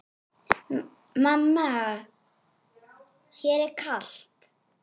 Mamma mér er kalt!